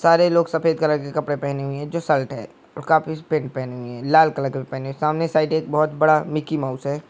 सारे लोग सफेद कलर के कपड़े पहने हुए हैं जो साल्ट है और काफी स पन्त पहेने हुए हे लाल कलर के भी पहने हे सामने साइड एक बहुत बड़ा मिकी माउस है।